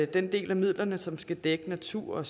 den del af midlerne som skal dække natur